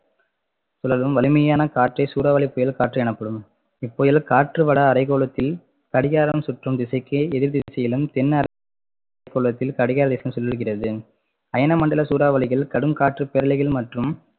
சுழலும் வலிமையான காற்றே சூறாவளி புயல் காற்று எனப்படும் இப்புயல் காற்றுவட அரைகோளத்தில் கடிகாரம் சுற்றும் திசைக்கு எதிர் திசையிலும் தென் அரைகோளத்தில் சுழலுகிறது அயன மண்டல சூறாவளிகள் கடும் காற்று பேரலைகள் மற்றும்